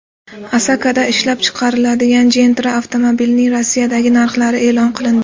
Asakada ishlab chiqariladigan Gentra avtomobilining Rossiyadagi narxlari e’lon qilindi.